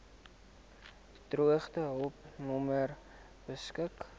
droogtehulp nommer beskik